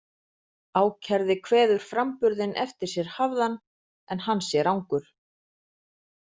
Ákærði kveður framburðinn eftir sér hafðan, en hann sé rangur.